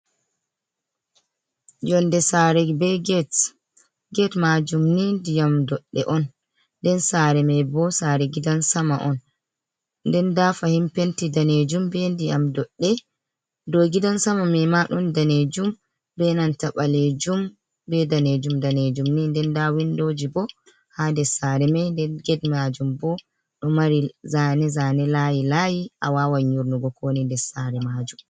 Yonde sare be get, get majum ni ndiyam doɗɗe on, nden sare mai bo sare gidan sama on, nden da fahin penti danejum be diyam doɗɗe, dow gidan sama mai ma ɗon danejum be nanta ɓalejum be danejum danejum ni, nden nda windoji bo ha des sare mai, nden get majum bo ɗo mari zane zane layi layi, a wawan yurnugo ko woni des sare majum.